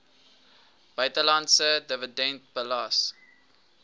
buitelandse dividend belas